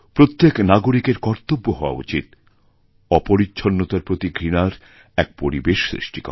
প্রত্যেক নাগরিকের কর্তব্য হওয়া উচিত অপরিচ্ছন্নতার প্রতি ঘৃণার একপরিবেশ সৃষ্টি করা